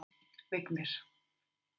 Vignir